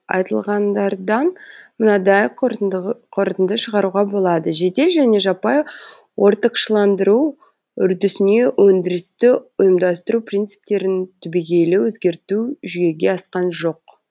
айтылғандардан мынадай қорытынды шығаруға болады жедел және жаппай ортықшыландыру үрдісіне өндірісті ұйымдастыру принциптерін түбегейлю өзгерту жүзеге асқан жоқ